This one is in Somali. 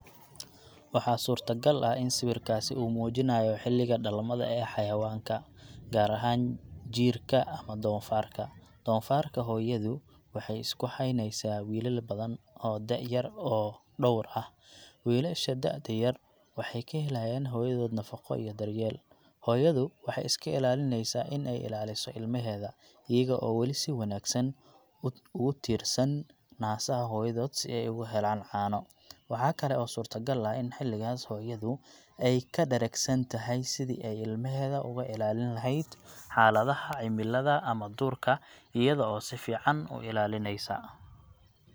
Waxaa suurtagal ah in sawirkaasi uu muujinayo xilliga dhalmada ee xayawaanka, gaar ahaan jiirka ama doofaarka. Doofaarka hooyadu waxay isku haynaysaa wiilal badan oo da'yar oo dhowr ah. Wiilasha da'da yar waxay ka helayaan hooyadood nafaqo iyo daryeel. Hooyadu waxay iska ilaalinaysaa in ay ilaaliso ilmaheeda, iyaga oo weli si wanaagsan ugu tiirsan naasaha hooyadood si ay ugu helaan caano. Waxa kale oo suurto gal ah in xilligaas hooyadu ay ka dharagsan tahay sidii ay ilmaheeda uga ilaalin lahayd xaaladaha cimilada ama duurka, iyada oo si fiican u ilaalinaysa.